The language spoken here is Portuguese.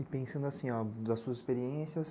E pensando assim, das suas experiências,